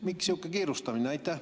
Miks sihuke kiirustamine?